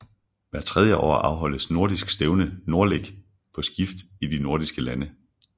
Hvert tredje år afholdes nordisk stævne NORDLEK på skift i de nordiske lande